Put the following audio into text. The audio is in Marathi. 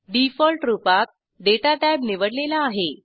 डिफॉल्ट रूपात दाता टॅब निवडलेला आहे